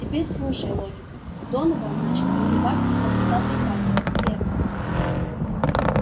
теперь слушай логика донован начал загибать волосатые пальцы первое